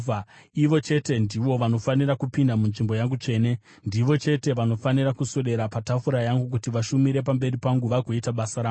Ivo chete ndivo vanofanira kupinda munzvimbo yangu tsvene; ndivo chete vanofanira kuswedera patafura yangu kuti vashumire pamberi pangu vagoita basa rangu.